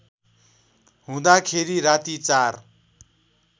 हुँदाखेरि राति ४